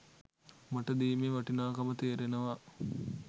මට දීමේ වටිනාකම තේරෙනවා.